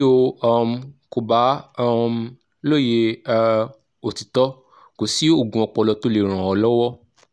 bí o um kò bá um lóye um òtítọ́ kò sí oògùn ọpọlọ tó lè ràn ọ́ lọ́wọ́